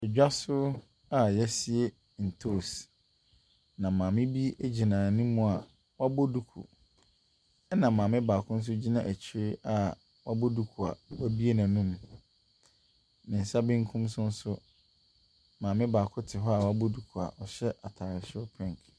Dwa so a yɛasie ntoos, na maame bi gyina anim wabɔ duku. Ɛna maame baako nso gyina akyire ɔbɔ duku a wɔabue n'anom. Ne nsa bekum so nso, maame baako te hɔ a wabɔ du a ɔhyɛ ataaresoro pink.